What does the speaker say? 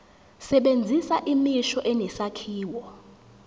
sebenzisa imisho enesakhiwo